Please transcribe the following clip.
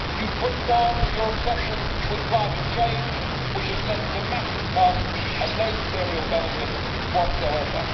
You have pushed on with your obsession with climate change, which has led to massive costs and no material benefits whatsoever.